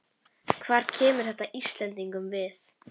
Hvað kemur þetta Íslendingum við?